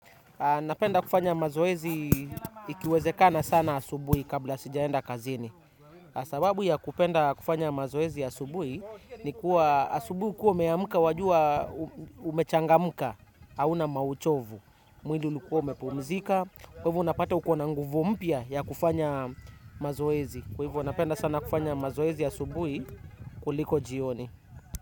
Napenda kufanya mazoezi ikiwezekana sana asubuhi kabla sijaenda kazini. Sababu ya kupenda kufanya mazoezi asubuhi ni kuwa asubuhi ukiwa umeamka wajua umechangamka hauna mauchovu. Mwili hukuwa umepumzika. Kwa hivyo unapata ukona nguvu mpya ya kufanya mazoezi. Kwa hivyo napenda sana kufanya mazoezi asubuhi kuliko jioni.